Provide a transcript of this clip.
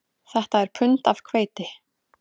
Þetta er pund af hveiti